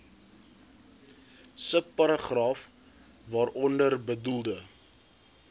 subparagraaf waaronder bedoelde